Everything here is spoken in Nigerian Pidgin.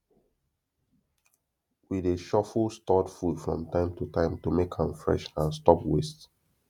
we dey shuffle stored food from time to time to make am fresh and stop waste